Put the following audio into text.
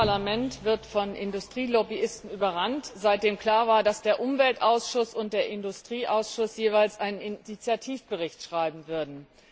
Das Parlament wird von Industrielobbyisten überrannt, seitdem klar war, dass der Umweltausschuss und der Industrieausschuss jeweils einen Initiativbericht verfassen würden.